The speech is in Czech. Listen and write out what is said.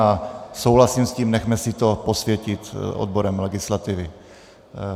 A souhlasím s tím, nechme si to posvětit odborem legislativy.